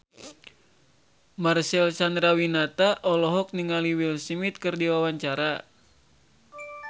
Marcel Chandrawinata olohok ningali Will Smith keur diwawancara